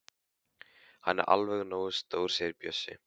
Hann er alveg nógu stór segir Bjössi.